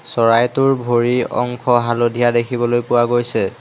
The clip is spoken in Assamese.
চৰাইটোৰ ভৰি অংশ হালধীয়া দেখিবলৈ পোৱা গৈছে।